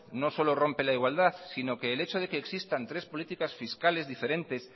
no solo rompe la igualdad sino que el echo de que existan tres políticas fiscales diferentes